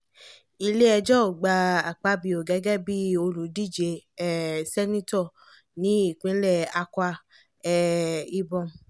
iléjọ́ ò gba akpabio gẹ́gẹ́ bíi olùdíje um seneto ní ìpínlẹ̀ akwa um ibom